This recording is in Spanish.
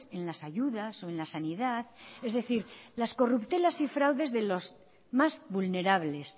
en las ayudas o en la sanidad es decir las corruptelas y fraudes de los más vulnerables